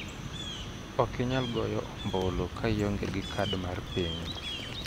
Okinyal goyo ombulu ka ionge gi kad mar piny.